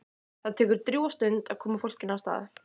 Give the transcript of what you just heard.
Það tekur drjúga stund að koma fólkinu af stað.